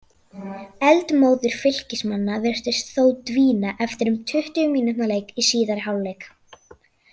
Eldmóður Fylkismanna virtist þó dvína eftir um tuttugu mínútna leik í síðari hálfleik.